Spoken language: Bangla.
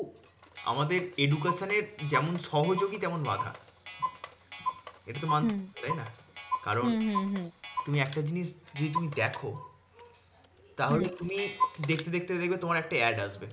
আমাদের education এর যেমন সহযোগী তেমন বাঁধা। এটা তো মানছো, হম তাইনা? কারণ হম হম হম তুমি একটা জিনিস যদি তুমি দেখো, তাহলে হম তুমি দেখতে দেখতে দেখবে তোমার একটা ad আসবে।